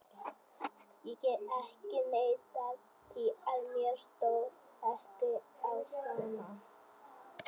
Ég get ekki neitað því að mér stóð ekki á sama.